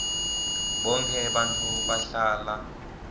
bonkhe bantfu bahlala